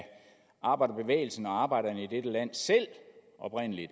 arbejderbevægelsen og arbejderne selv i dette land